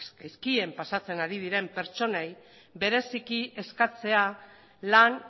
gaizki pasatzen ari diren pertsonei bereziki eskatzea lan